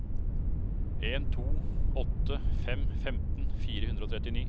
en to åtte fem femten fire hundre og trettini